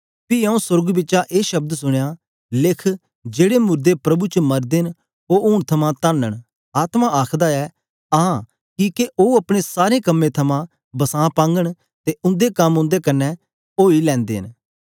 पी आऊँ सोर्ग बिचा ए शब्द सुनया लिख जेड़े मुर्दे प्रभु च मरदे न ओ हूंन थमां धन्न न आत्मा आखदा ऐ आं किके ओ अपने सारे कम्में थमां बसां पांघन ते उंदे कम उंदे कन्ने ओई लैंदे न